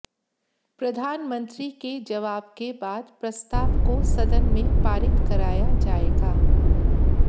प्रधानमंत्री के जवाब के बाद प्रस्ताव को सदन में पारित कराया जाएगा